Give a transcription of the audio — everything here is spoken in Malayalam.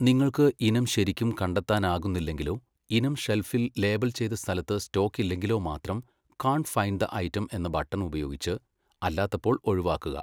നിങ്ങൾക്ക് ഇനം ശരിക്കും കണ്ടെത്താനാകുന്നില്ലെങ്കിലോ ഇനം ഷെൽഫിൽ ലേബൽ ചെയ്ത സ്ഥലത്ത് സ്റ്റോക്കില്ലെങ്കിലോ മാത്രം കാൺട് ഫൈൻഡ് ദ ഐറ്റം എന്ന ബട്ടൺ ഉപയോഗിച്ച് അല്ലാത്തപ്പോൾ ഒഴിവാക്കുക.